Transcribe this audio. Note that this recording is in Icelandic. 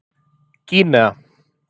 Gínea